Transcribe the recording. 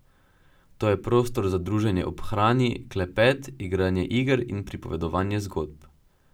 To je prostor za druženje ob hrani, klepet, igranje iger in pripovedovanje zgodb.